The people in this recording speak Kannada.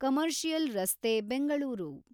ಕಮರ್ಷಿಯಲ್‌ ರಸ್ತೆ ಬೆಂಗಳೂರು